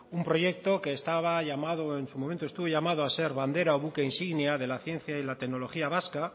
un proyecto que estaba llamado en su momento estuvo llamado a ser bandera o buque insignia de la ciencia y la tecnología vasca